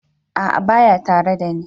A'a baya tare da ni ba.